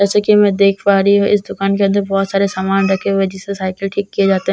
जैसा कि मैं देख पा रही हूं इस दुकान के अंदर बहुत सारे सामान रखे हुए हैं जिस से साइकल ठीक किए जाते हैं